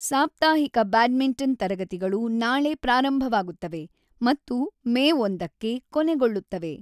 ಸಾಪ್ತಾಹಿಕ ಬ್ಯಾಡ್ಮಿಂಟನ್ ತರಗತಿಗಳು ನಾಳೆ ಪ್ರಾರಂಭವಾಗುತ್ತವೆ ಮತ್ತು ಮೇ ಒಂದಕ್ಕೆ ಕೊನೆಗೊಳ್ಳುತ್ತವೆ